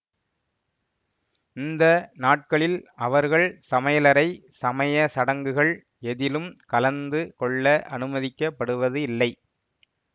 இந்த நாட்களில் அவர்கள் சமையலறை சமய சடங்குகள் எதிலும் கலந்து கொள்ள அனுமதிக்கப்படுவது இல்லை